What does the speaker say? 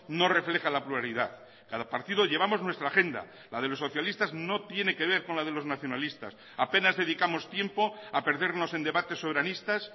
no refleja la pluralidad cada partido llevamos nuestra agenda la de los socialistas no tiene que ver con la de los nacionalistas apenas dedicamos tiempo a perdernos en debates soberanistas